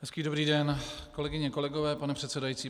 Hezký dobrý den, kolegyně, kolegové, pane předsedající.